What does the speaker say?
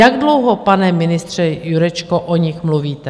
Jak dlouho, pane ministře, Jurečko, o nich mluvíte?